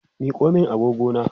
Miko min agogona!